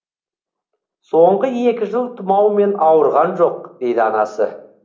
соңғы екі жыл тұмаумен ауырған жоқ дейді анасы